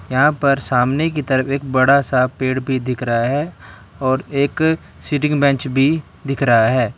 यहां पर सामने की तरफ एक बड़ा सा पेड़ भी दिख रहा है और एक सीटिंग बेंच भी दिख रहा है।